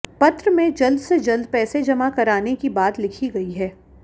पत्र में जल्द से जल्द पैसे जमा कराने की बात लिखी गई है